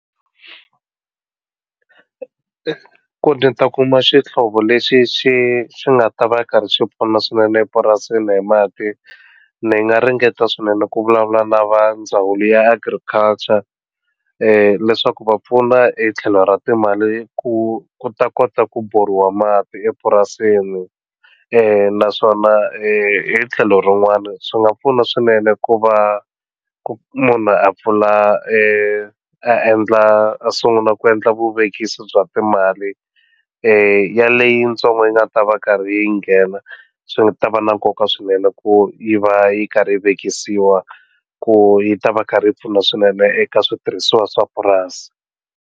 Ku nita kuma xihlovo lexi xi xi nga ta va karhi swi pfuna swinene epurasini hi mati ni nga ringeta swinene ku vulavula na va ndzawulo ya agriculture leswaku va pfuna hi tlhelo ra timali ku ku ta kota ku bhoriwa mati epurasini i naswona hi tlhelo rin'wana swi nga pfuna swinene ku va ku munhu a pfula e endla a sungula ku endla vuvekisi bya timali ya leyitsongo yi nga ta va karhi yi nghena swi nga ta va na nkoka swinene ku yi va yi karhi yi vekisa yiwa ku yi ta va karhi yi pfuna swinene eka switirhisiwa swa purasi.